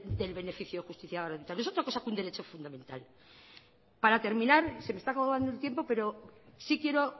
del beneficio de justicia gratuita no es otra cosa que un derecho fundamental para terminar se me está acabando el tiempo pero sí quiero